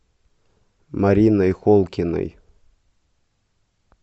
мариной холкиной